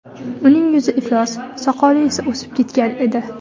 Uning yuzi iflos, soqoli esa o‘sib ketgan edi.